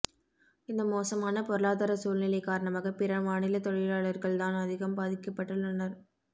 இந்த மோசமான பொருளாதார சூழ்நிலை காரணமாக பிறமாநில தொழிலாளர்கள் தான் அதிகம் பாதிக்கப்பட்டுள்ளனர்